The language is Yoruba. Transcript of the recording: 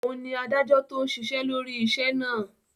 Òun ni adájọ́ tó ń ṣiṣẹ́ lórí iṣẹ́ náà